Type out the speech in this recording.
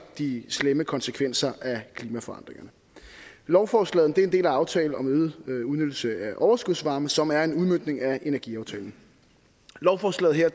de slemme konsekvenser af klimaforandringerne lovforslaget er en del af aftalen om øget udnyttelse af overskudsvarme som er en udmøntning af energiaftalen lovforslaget her